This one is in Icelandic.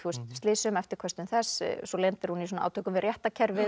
slysinu eftirköstum þess svo lendir hún í átökum við réttarkerfið